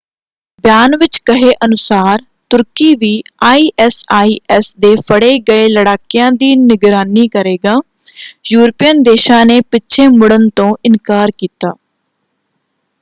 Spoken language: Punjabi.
ਬਿਆਨ ਵਿੱਚ ਕਹੇ ਅਨੁਸਾਰ ਤੁਰਕੀ ਵੀ ਆਈਐਸਆਈਐਸ ਦੇ ਫੜ੍ਹੇ ਗਏ ਲੜਾਕਿਆਂ ਦੀ ਨਿਗਰਾਨੀ ਕਰੇਗਾ ਯੂਰਪੀਅਨ ਦੇਸ਼ਾਂ ਨੇ ਪਿੱਛੇ ਮੁੜ੍ਹਨ ਤੋਂ ਇਨਕਾਰ ਕੀਤਾ।